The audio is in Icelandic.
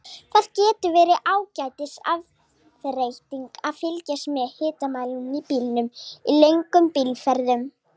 Það getur verið ágætis afþreying að fylgjast með hitamælinum í bílnum í löngum bílferðum.